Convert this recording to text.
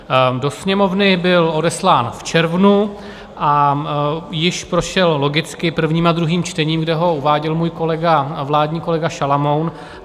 Do Sněmovny byl odeslán v červnu a již prošel logicky prvním a druhým čtením, kde ho uváděl můj kolega, vládní kolega Šalomoun.